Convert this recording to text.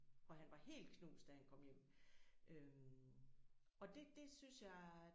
Og han var helt knust da han kom hjem øh og det det synes jeg